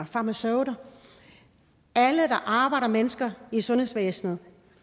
farmaceuter alle der arbejder med mennesker i sundhedsvæsenet